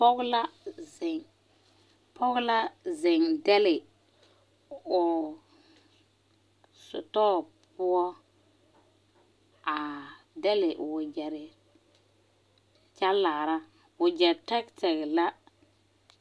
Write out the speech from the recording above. Poge la zeŋ, poge la zeŋ dɛle o sitor poʊ aa dɛle o wagyere kyɛ laara. Wagye tegteg la